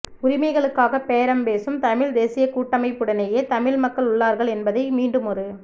உரிமைகளுக்காக பேரம் பேசும் தமிழ்த் தேசியக் கூட்டமைப்புடனேயே தமிழ் மக்கள் உள்ளார்கள் என்பதை மீண்டுமொரு